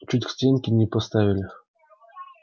чуть к стенке не поставили